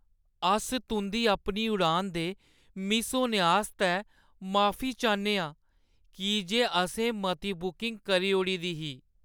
अस तुंʼदी अपनी उड़ान दे मिस होने आस्तै माफी चाह्न्ने आं की जे असें मती बुकिंग करी ओड़ी दी ही ।